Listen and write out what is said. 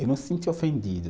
Eu não sinto ofendido.